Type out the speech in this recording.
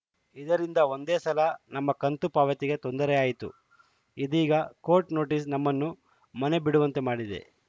ಇದರಿಂದ ಒಂದೇ ಸಲ ನಮ್ಮ ಕಂತು ಪಾವತಿಗೆ ತೊಂದರೆಯಾಯಿತು ಇದೀಗ ಕೋರ್ಟ್‌ ನೋಟಿಸ್‌ ನಮ್ಮನ್ನು ಮನೆ ಬಿಡುವಂತೆ ಮಾಡಿದೆ